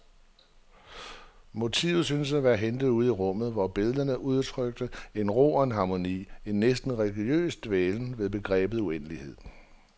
Motiverne syntes at være hentet ude i rummet, hvor billederne udtrykte en ro og en harmoni, en næsten religiøs dvælen ved begrebet uendelighed.